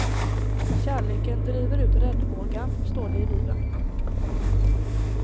Kärleken driver ut räddhågan, står det i bibeln.